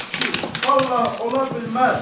Ay kişi, vallah ola bilməz.